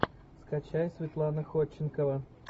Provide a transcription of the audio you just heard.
скачай светлана ходченкова